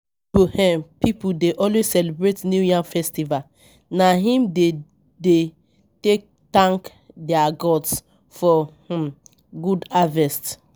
Ibo um pipu dey always celebrate New Yam Festival, na im dem dey take tank their gods for um good harvest.